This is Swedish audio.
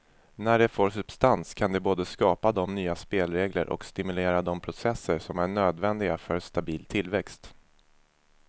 När det får substans kan det både skapa de nya spelregler och stimulera de processer som är nödvändiga för stabil tillväxt.